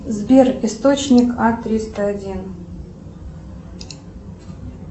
сбер источник а триста один